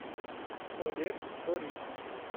олег сорих